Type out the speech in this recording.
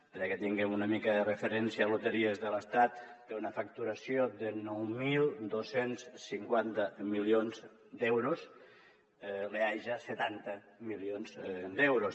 perquè tinguem una mica de referència loteries de l’estat té una facturació de nou mil dos cents i cinquanta milions d’euros l’eaja setanta milions d’euros